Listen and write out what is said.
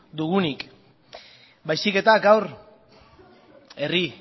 dugunik baizik eta gaur herri